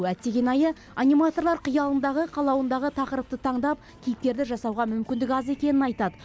әттеген айы аниматорлар қиялындағы қалауындағы тақырыпты таңдап кейіпкерді жасауға мүмкіндік аз екенін айтады